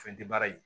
Fɛn tɛ baara ye